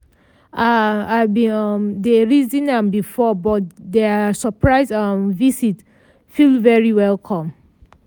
um i bin um dey reason am before but their surprise um visit feel very welcome.